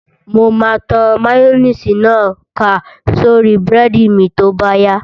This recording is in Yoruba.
Mo máa tan máyóníìsì náà ká sórí búrẹ́dì mi tó bá yá